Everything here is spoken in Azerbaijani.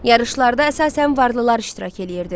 Yarışlarda əsasən varlılar iştirak eləyirdi.